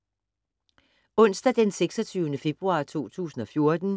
Onsdag d. 26. februar 2014